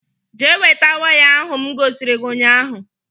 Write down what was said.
Jee weta waya ahụ m gosiri gị ụnyaahụ